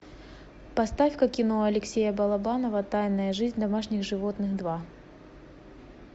поставька кино алексея балабанова тайная жизнь домашних животных два